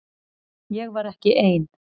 Ég var ekki ein.